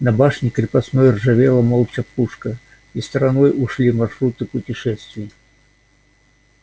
на башне крепостной ржавела молча пушка и стороной ушли маршруты путешествий